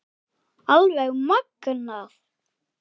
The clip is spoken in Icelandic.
Alveg magnað!